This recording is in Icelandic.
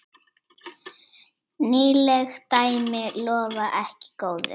Nýleg dæmi lofa ekki góðu.